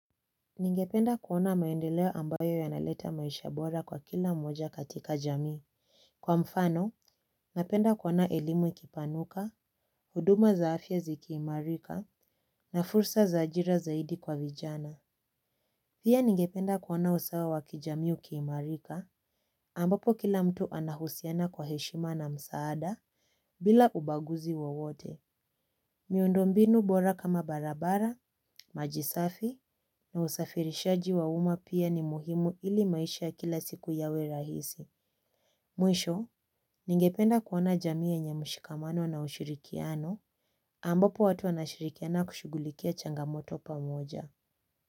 Ningependa kuona maendeleo ambayo ya naleta maisha bora kwa kila mmoja katika jamii. Kwa mfano, napenda kuona elimu ikipanuka, huduma za afya zikiimarika, na fursa zaajira zaidi kwa vijana. Pia ningependa kuona usawa wakijamii ukiimarika, ambapo kila mtu anahusiana kwa heshima na msaada, bila ubaguzi wowote. Miundo mbinu bora kama barabara, majisafi, na usafirishaji wa uma pia ni muhimu ili maisha ya kila siku yawe rahisi. Mwisho, ningependa kuona jamii ye mushikamano na ushirikiano, ambapo watu wanashirikiana kushugulikia changamoto pa moja.